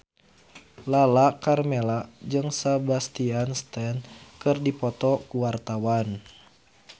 Lala Karmela jeung Sebastian Stan keur dipoto ku wartawan